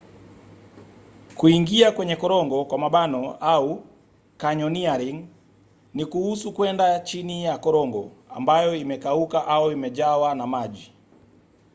kuingia kwenye korongo au: canyoneering ni kuhusu kwenda chini ya korongo ambayo imekauka au imejawa na maji